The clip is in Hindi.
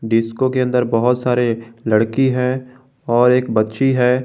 डिस्को के अंदर बहुत सारे लड़की है और एक बच्ची है।